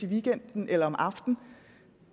weekenden eller om aftenen